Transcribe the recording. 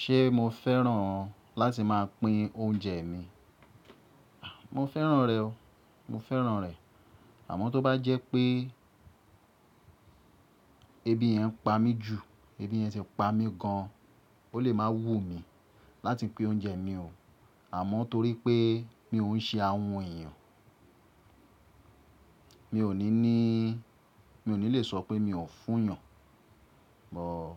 Ṣé mo fẹ́ràn láti máa pín oúnjẹ mi? À, mo fẹ́ràn rẹ̀ o. Mo fẹ́ràn rẹ̀. Àmọ́ tó bá jẹ́ pé ebi yẹn ń pa mí jù, ebi yẹn ti pa mí gan, ó lè máa wúmi láti pín oúnjẹ mi o. Àmọ́ torí pé mi ò ń ṣe ahun èèyàn, mi ò ní ní, mi ò ní lè sọ pé mi ò fún yàn. Bọ̀,